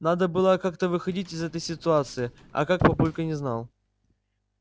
надо было как-то выходить из этой ситуации а как папулька не знал